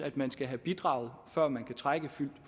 at man skal have bidraget før man kan trække